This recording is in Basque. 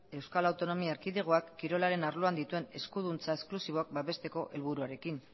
euskal autonomia erkidegoak kirolaren arloan dituen eskuduntza esklusiboak babesteko helburuarekin